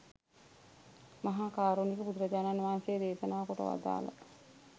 මහා කාරුණික බුදුරජාණන් වහන්සේ දේශනා කොට වදාළ